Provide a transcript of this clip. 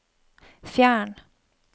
fjern